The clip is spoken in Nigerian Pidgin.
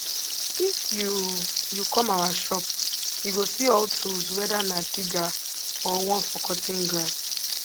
if you you come our shop you go see all tools whether na digger or one for cutting grass